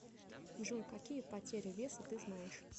джой какие потеря веса ты знаешь